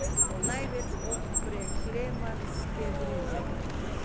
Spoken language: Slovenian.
Največ od preklemanske griže.